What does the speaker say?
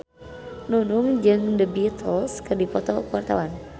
Nunung jeung The Beatles keur dipoto ku wartawan